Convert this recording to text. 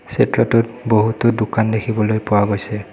চিত্ৰটোত বহুতো দোকান দেখিবলৈ পোৱা গৈছে।